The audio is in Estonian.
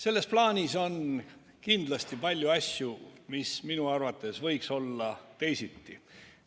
Selles plaanis on kindlasti palju asju, mis minu arvates võiks olla teisiti.